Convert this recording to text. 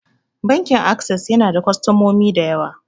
Bankin Ases yana da kostomomi da yawa.